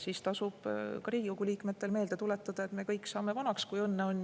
Siiski tasub ka Riigikogu liikmetel meelde tuletada, et me kõik saame vanaks, kui õnne on.